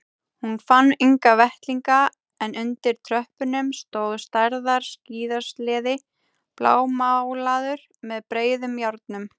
Hún fann enga vettlinga en undir tröppunum stóð stærðar skíðasleði blámálaður með breiðum járnum.